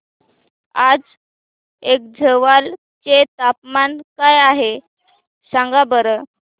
आज ऐझवाल चे तापमान काय आहे सांगा बरं